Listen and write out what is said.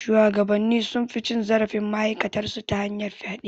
Shuwagabanni sun fi cin zarafin ma'aikatan su ta hanyar fyaɗe.